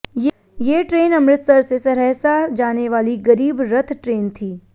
ये ट्रेन अमृतसर से सरहसा जाने वाली गरीब रथ ट्रेन थी